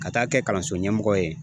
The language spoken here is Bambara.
Ka taa kɛ kalanso ɲɛmɔgɔ ye